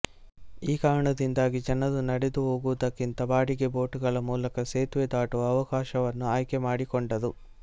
ಈ ಕಾರಣದಿಂದಾಗಿ ಜನರು ನಡೆದು ಹೋಗುವುದಕ್ಕಿಂತ ಬಾಡಿಗೆ ಬೋಟ್ ಗಳ ಮೂಲಕ ಸೇತುವೆ ದಾಟುವ ಅವಕಾಶವನ್ನು ಆಯ್ಕೆ ಮಾಡಿಕೊಂಡರು